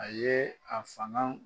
A yee a fangan